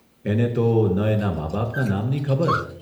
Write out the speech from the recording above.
એને તો ન એના માં બાપ ના નામ ની ખબર